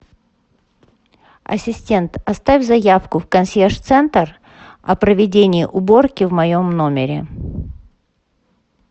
ассистент оставь заявку в консьерж центр о проведении уборки в моем номере